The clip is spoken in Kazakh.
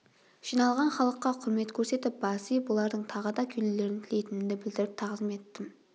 жиналған халыққа құрмет көрсетіп бас иіп олардың тағы да келулерін тілейтінімді білдіріп тағзым еттім